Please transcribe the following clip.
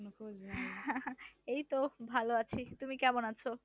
এইতো ভাল আছি, তুমি কেমন আছো?